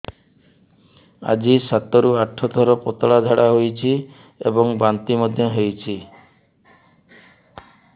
ଆଜି ସାତରୁ ଆଠ ଥର ପତଳା ଝାଡ଼ା ହୋଇଛି ଏବଂ ବାନ୍ତି ମଧ୍ୟ ହେଇଛି